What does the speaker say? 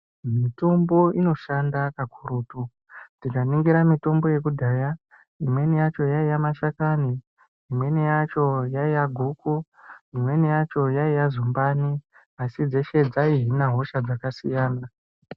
Mitombo inoshanda kakurutu tika ningira mitombo yekudhaya imweni yacho yaiya mashakani imweni yacho yaiya guku imweni yacho yaiya zumbani asi dzeshe dzai hina hosha dzaka siyana.